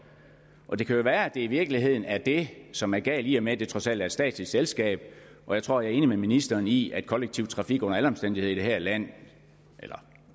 det kan jo være at det i virkeligheden er det som er galt i og med at det trods alt er et statsligt selskab jeg tror jeg er enig med ministeren i at kollektiv trafik under alle omstændigheder i det her land